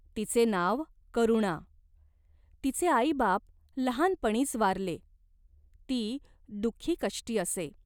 तिचे नाव करुणा. तिचे आईबाप लहानपणीच वारले, ती दुख्खीकष्टी असे.